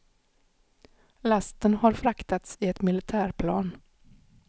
Lasten har fraktats i ett militärplan.